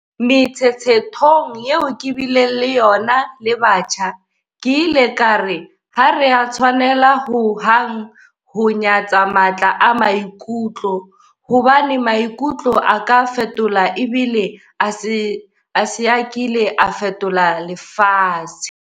Metshetshethong eo ke bileng le yona le batjha, ke ile ka re ha re a tshwanela ho hang ho nya-tsa matla a maikutlo, hobane maikutlo a ka fetola ebile a se a kile a fetola lefatshe.